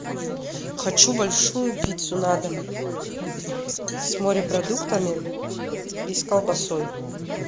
хочу большую пиццу на дом с морепродуктами и с колбасой